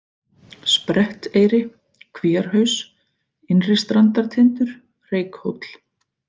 Spretteyri, Kvíarhaus, Innri-Strandartindur, Reykhóll